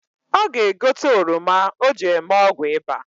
Ọ ga-egote oroma o ji eme ọgwụ ịba